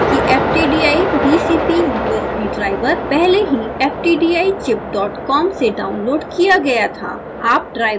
याद रखें कि ftdi vcp usb driver पहले ही ftdichipcom से डाउनलोड किया गया था